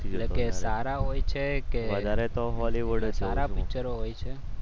એટલે કે સારા હોય છે કે સારા પિક્ચરો હોય છે?